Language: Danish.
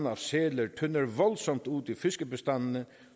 af sæler tynder voldsomt ud i fiskebestandene